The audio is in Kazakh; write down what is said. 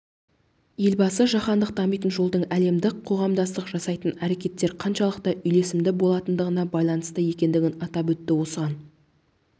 елбасы жаһандық дамитын жолдың әлемдік қоғамдастық жасайтын әрекеттер қаншалықты үйлесімді болатындығына байланысты екендігін атап өтті осыған